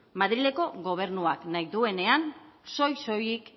madrileko gobernuak nahi duenean soil soilik